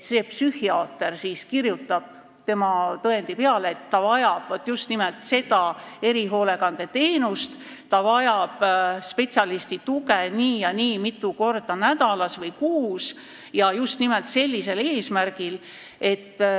Siis psühhiaater kirjutab tema tõendi peale, et ta vajab just nimelt seda erihoolekandeteenust, ta vajab spetsialisti tuge nii ja nii mitu korda nädalas või kuus ja just nimelt sellisel eesmärgil.